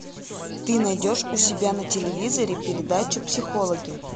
ты найдешь у себя на телевизоре передача психологи